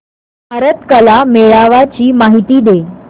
भारत कला मेळावा ची माहिती दे